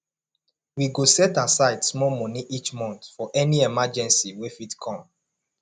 we go set aside small money each month for any emergency wey fit come